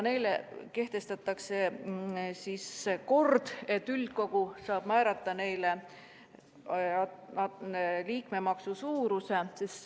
Kehtestatakse kord, et üldkogu saab määrata neile liikmemaksu suuruse.